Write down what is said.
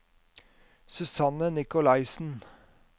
Susanne Nicolaysen